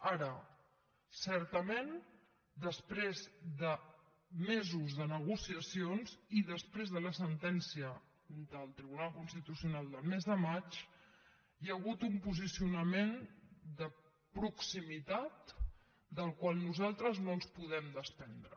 ara certament després de mesos de negociacions i després de la sentència del tribunal constitucional del mes de maig hi ha hagut un posicionament de proximitat del qual nosaltres no ens podem desprendre